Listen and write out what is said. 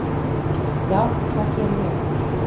Já, það geri ég.